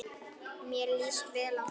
Mér líst vel á þá.